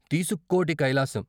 తీసుక్కోటి కై లాసం